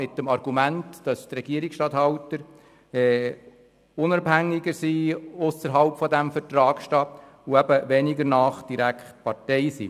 Dies mit dem Argument, dass die Regierungsstatthalter unabhängiger sind, ausserhalb des Vertrags stehen und weniger direkt Partei sind.